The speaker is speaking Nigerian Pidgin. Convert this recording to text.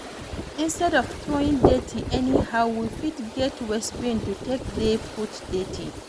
Instead of throwing dirty anyhow, we fit get waste bin to take dey put dirty